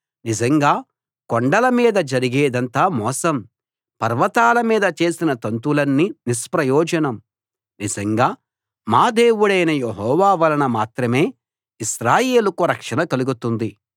నిజంగా కొండల మీద జరిగేదంతా మోసం పర్వతాల మీద చేసిన తంతులన్నీ నిష్‌ప్రయోజనం నిజంగా మా దేవుడైన యెహోవా వలన మాత్రమే ఇశ్రాయేలుకు రక్షణ కలుగుతుంది